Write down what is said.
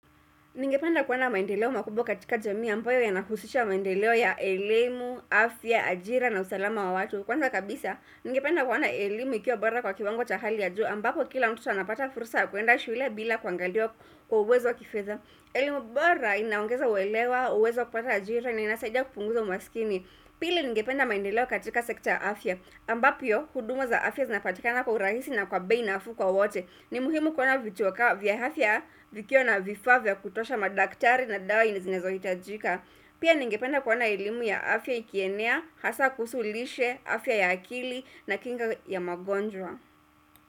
Ningependa kuona maendeleo makubwa katika jamii ambayo yanahusisha maendeleo ya elimu, afya, ajira na usalama wa watu. Kwanza kabisa, ningependa kuona elimu ikiwa bora kwa kiwango cha hali ya juu ambapo kila mtu anapata fursa kuenda shule bila kuangalia kwa uwezo wa kifedha. Elimu bora inaongeza uelewa, uwezo wa kupata ajira na inasaidia kupunguza umasikini. Pili ningependa maendeleo katika sekta cha afya ambapyo huduma za afya zinapatikana kwa urahisi na kwa bei nafuu kwa wote. Ni muhimu kuona vituo ka vya hafya vikiwa na vifaa vya kutosha madaktari na dawa zenye zinezo hitajika Pia ningependa kuona elimu ya afya ikienea, hasaa kuhusu lishe, afya ya akili na kinga ya magonjwa.